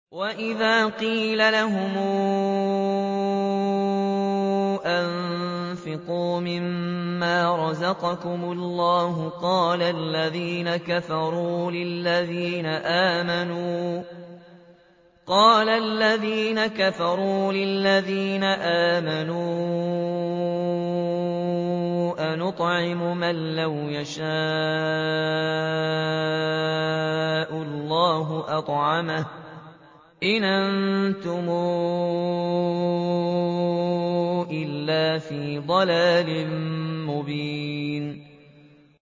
وَإِذَا قِيلَ لَهُمْ أَنفِقُوا مِمَّا رَزَقَكُمُ اللَّهُ قَالَ الَّذِينَ كَفَرُوا لِلَّذِينَ آمَنُوا أَنُطْعِمُ مَن لَّوْ يَشَاءُ اللَّهُ أَطْعَمَهُ إِنْ أَنتُمْ إِلَّا فِي ضَلَالٍ مُّبِينٍ